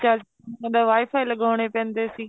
ਚੱਲ ਜਾਂਦਾ WIFI ਲਗਾਉਣੇ ਪੈਂਦੇ ਸੀ